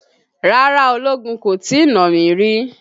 Rárá ológun kò tí nà mí rí.